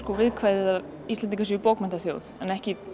viðkvæðið að Íslendingar séu bókmenntaþjóð ekki